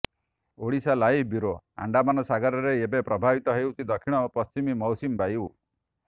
Odisha live bureau Andaman ସାଗରରେ ଏବେ ପ୍ରବାହିତ ହେଉଛି ଦକ୍ଷିଣ ପଶ୍ଚିମ ମୌସୁମୀ ବାୟୁ